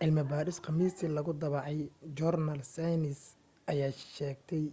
cilmi baadhis khamiistii lagu daabacay joornaal saynis ayaa sheegtay